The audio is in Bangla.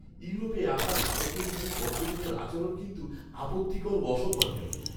ইউরোপে আসা ভারতীয় কিছু পর্যটকের আচরণ কিন্তু আপত্তিকর ও অসম্মানজনক।